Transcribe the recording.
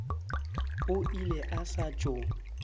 o ile a sa tšo